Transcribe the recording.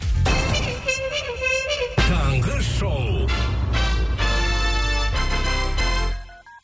таңғы шоу